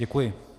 Děkuji.